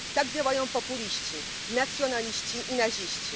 Tak działają populiści, nacjonaliści i naziści.